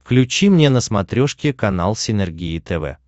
включи мне на смотрешке канал синергия тв